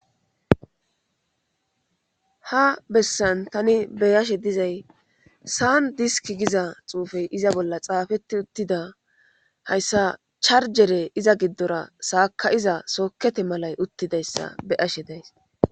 Ha bessan tani beyashe dizay saan diski giza xuufey iza bolla xaafetti uttida hayssa charjere iza giddora saaka iza sookete malay uttidayssa beyashe days.